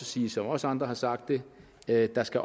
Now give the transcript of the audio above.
sige som også andre har sagt det at der skal